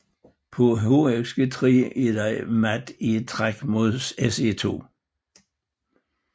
På hxg3 er der mat i ét træk med Se2